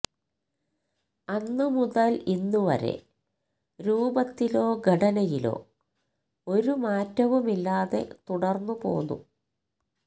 അന്നു മുതല് ഇന്നുവരെ രൂപത്തിലോ ഘടനയിലോ ഒരു മാറ്റവുമില്ലാതെ തുടര്ന്നു പോന്നു